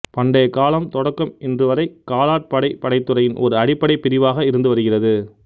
பண்டைக்காலம் தொடக்கம் இன்று வரை காலாட் படை படைத்துறையின் ஒரு அடிப்படை பிரிவாக இருந்து வருகிறது